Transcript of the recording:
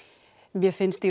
mér finnst